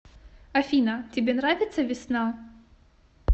афина тебе нравится весна